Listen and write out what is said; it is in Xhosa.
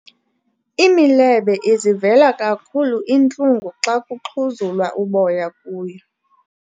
Imilebe izivela kakhulu iintlungu xa kuxhuzulwa uboya kuyo.